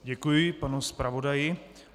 Děkuji panu zpravodaji.